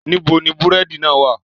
Nibo ni búrẹ́di náà wa?